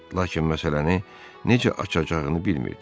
Lakin məsələni necə açacağını bilmirdi.